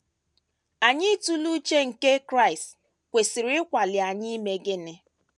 Anyị ịtụle uche nke Kraịst kwesịrị ịkwali anyị ime gịnị?